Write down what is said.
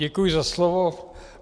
Děkuji za slovo.